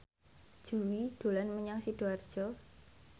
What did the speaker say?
Jui dolan menyang Sidoarjo